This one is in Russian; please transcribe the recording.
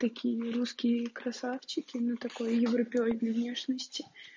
какие мы русские красавчики ну такой европеоидной внешности